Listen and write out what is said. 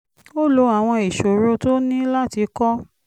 ó lo àwọn ìṣòro tó ní láti kọ́